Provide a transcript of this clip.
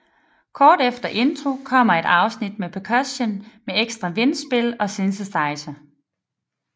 Kort efter intro kommer et afsnit med percussion med ekstra vindspil og synthesizer